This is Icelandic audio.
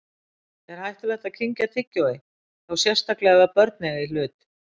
Er hættulegt að kyngja tyggjói, þá sérstaklega ef börn eiga í hlut?